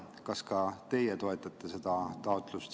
Kas ka teie toetate seda taotlust?